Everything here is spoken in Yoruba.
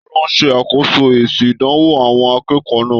Taló n ṣe akoso èsì ìdánwò àwọn akẹ́kọ̀ọ́ náà?